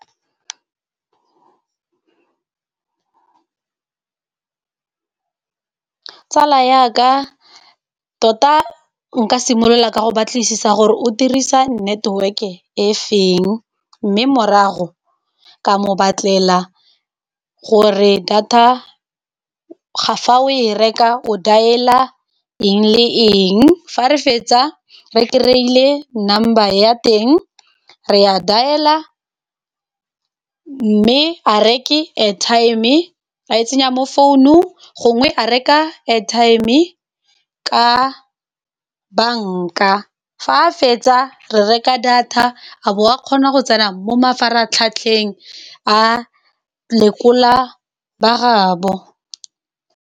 Tsala yaka tota nka simolola ka go batlisisa gore o dirisa network-e e feng mme morago ka mo batlela gore, data fa o e reka, o dial-a eng le eng. Fa re fetsa re kry-ile number ya teng, re a dial-a mme a reke airtime e a e tsenya mo founung gongwe a reka airtime, ka bank-a. Fa a fetsa re reka data a bo a kgona go tsena mo mafaratlhatlheng a lekola ba gaabo.